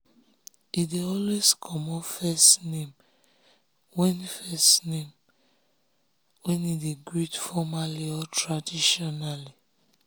he dey always comot first name when first name when he dey greet formaly or traditionally.